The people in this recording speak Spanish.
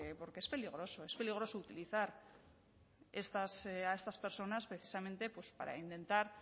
porque es peligroso es peligroso utilizar a estas personas precisamente para intentar